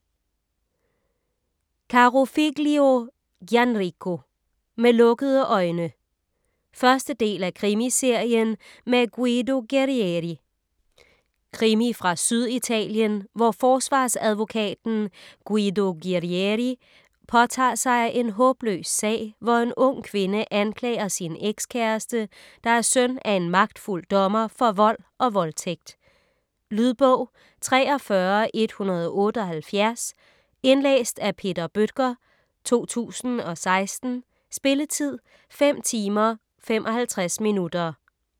Carofiglio, Gianrico: Med lukkede øjne 1. del af Krimiserien med Guido Guerrieri. Krimi fra Syditalien, hvor forsvarsadvokaten Guido Guerrieri påtager sig en håbløs sag, hvor en ung kvinde anklager sin ekskæreste, der er søn af en magtfuld dommer, for vold og voldtægt. . Lydbog 43178 Indlæst af Peter Bøttger, 2016. Spilletid: 5 timer, 55 minutter.